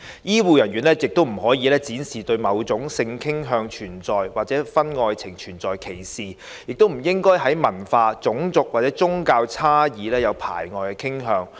醫護人員不可以展示對某種性傾向或婚外情存在歧視，亦不應該在文化、種族或宗教差異上有排外的傾向。